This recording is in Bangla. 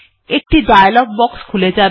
একটি ডায়ালগ বক্স খুলে যাবে